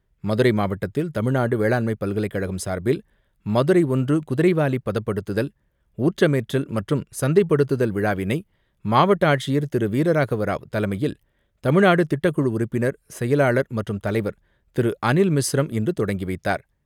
மதுரை மாவட்டத்தில் தமிழ்நாடு வேளாண்மை பல்கலைக்கழகம் சார்பில் மதுரை ஒன்று குதிரைவாலி பதப்படுத்துதல், ஊற்றமேற்றல் மற்றும் சந்தைப்படுத்துதல் விழாவினை மாவட்ட ஆட்சியர் திரு வீரராகவ ராவ் தலைமையில் தமிழ்நாடு திட்டக்குழு உறுப்பினர் செயலாளர் மற்றும் தலைவர் திரு அனில் மிஸ்ரம் இன்று தொடங்கிவைத்தார்.